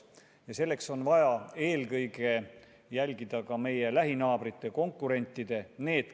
Ja selleks on vaja eelkõige jälgida ka meie lähinaabrite, meie konkurentide maksupoliitikat.